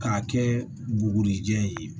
K'a kɛ bugurijɛ ye